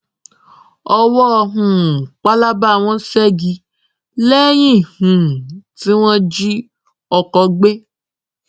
owó um pálábá wọn ṣẹgi lẹyìn um tí wọn jí ọkọ gbé